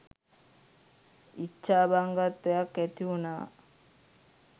ඉච්ඡාබංගත්වයක් ඇතිවුණා